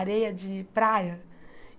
areia de praia.